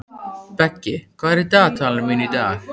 Beggi, hvað er í dagatalinu mínu í dag?